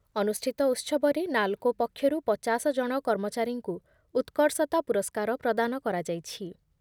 ଅନୁଷ୍ଠିତ ଉତ୍ସବରେ ନାଲ୍‌କୋ ପକ୍ଷରୁ ପଚାଶ ଜଣ କର୍ମଚାରୀଙ୍କୁ ଉତ୍କର୍ଷତା ପୁରସ୍କାର ପ୍ରଦାନ କରାଯାଇଛି ।